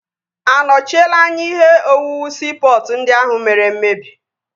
A nochiela anya ihe owuwu siipọtụ ndị ahụ mere mmebi?